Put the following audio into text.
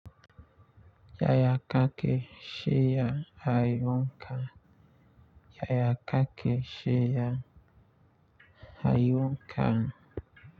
Yaya kakake shirya kayonka wanka. Yaya kakake shirya kayonka.